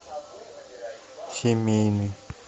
семейный